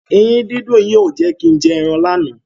Eyín dídùn yìí ò jẹ́ kin jẹ ẹran lánàá.